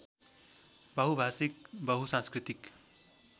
बहुभाषिक बहुसांस्कृतिक